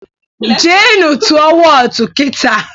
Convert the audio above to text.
Jee nụ tụọ Wọọtụ kitaa!